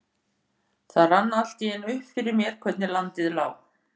Það rann allt í einu upp fyrir mér hvernig landið lá.